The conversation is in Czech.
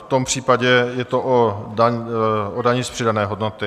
V tom případě je to o dani z přidané hodnoty.